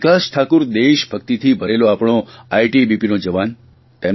આ વિકાસ ઠાકુર દેશભકિતથી ભરેલો આપણો આઇટીબીપીનો જવાન